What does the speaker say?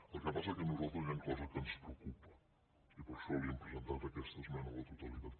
el que passa és que a nosaltres hi han coses que ens preocupen i per això li hem presentat aquesta esmena a la totalitat